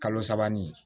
Kalo sabani